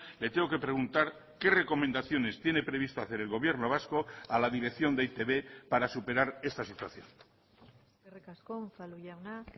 le tengo que preguntar qué recomendaciones tiene previsto hacer el gobierno vasco a la dirección de e i te be para superar esta situación eskerrik asko unzalu jauna